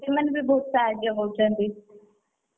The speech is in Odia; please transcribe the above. ସେମାନେ ବି ବହୁତ ସାହାଯ୍ୟ କରୁଛନ୍ତି,